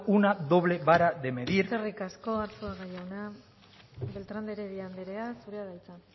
una doble vara de medir eskerrik asko arzuaga jauna beltrán de heredia anderea zurea da hitza